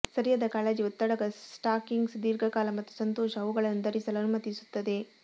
ಸರಿಯಾದ ಕಾಳಜಿ ಒತ್ತಡಕ ಸ್ಟಾಕಿಂಗ್ಸ್ ದೀರ್ಘಕಾಲ ಮತ್ತು ಸಂತೋಷ ಅವುಗಳನ್ನು ಧರಿಸಲು ಅನುಮತಿಸುತ್ತದೆ